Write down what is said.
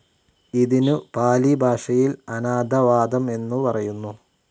ഇതിനു പാലിഭാഷയിൽ അനാഥാവാദം എന്നു പറയുന്നു.